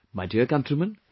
My dear countrymen,